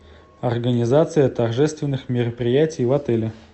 организация торжественных мероприятий в отеле